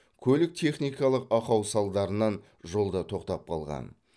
көлік техникалық ақау салдарынан жолда тоқтап қалған